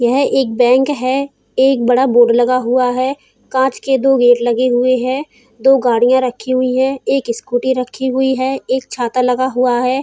यह एक बैंक है। एक बड़ा बोर्ड लगा हुआ है। कांच के दो गेट लगे हुए है। दो गाड़ियां रखी हुई है। एक स्कूटी रखी हुई है। एक छाता लगा हुआ है।